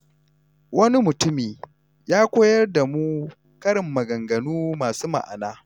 Wani mutumi ya koyar da mu karin maganganu masu ma’ana.